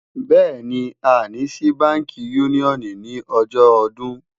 béèni, a ní sí bánkì unioni ní ojó ọdún